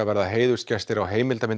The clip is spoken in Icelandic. verða heiðursgestir á